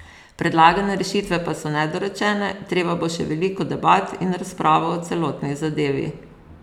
Predlagane rešitve pa so nedorečene, treba bo še veliko debat in razpravo o celotni zadevi.